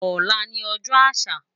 Olá ni òjò ásà